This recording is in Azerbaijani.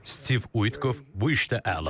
Stiv Uitkov bu işdə əladır.